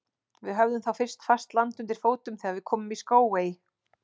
Við höfðum þá fyrst fast land undir fótum þegar við komum í Skógey.